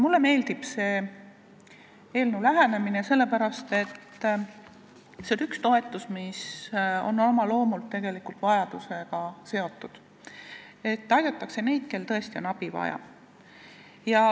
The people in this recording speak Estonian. Mulle meeldib selle eelnõu lähenemine, sellepärast et see on üks toetusi, mis on oma loomult tegelikult vajadusega seotud, aidatakse neid, kel tõesti on abi vaja.